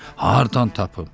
Hardan tapım?